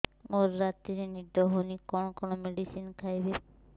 ମୋର ରାତିରେ ନିଦ ହଉନି କଣ କଣ ମେଡିସିନ ଖାଇବି